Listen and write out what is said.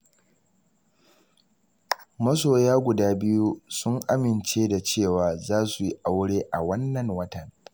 Masoyan guda biyu sun amince da cewa, za su yi aure a wannan watan.